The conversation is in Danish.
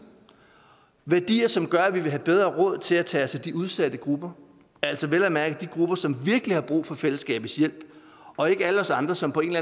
værdier som gør at vi vil have bedre råd til at tage os af de udsatte grupper altså vel at mærke de grupper som virkelig har brug for fællesskabets hjælp og ikke alle os andre som på en